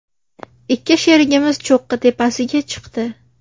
Ikki sherigimiz cho‘qqi tepasiga chiqdi.